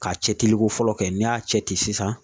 K'a cɛciliko fɔlɔ kɛ n'i y'a cɛ ci sisan